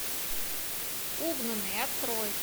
угнанные открой